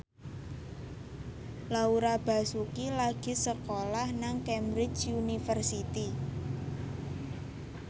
Laura Basuki lagi sekolah nang Cambridge University